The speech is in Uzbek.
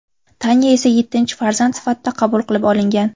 Tanya esa yettinchi farzand sifatida qabul qilib olingan.